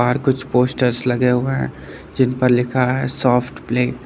बाहर कुछ पोस्टर्स लगे हुए हैं जिन पर लिखा है सॉफ्ट प्ले ।